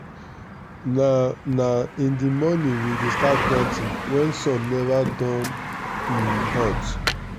na na in the morning we dey start planting wen sun neva don um hot.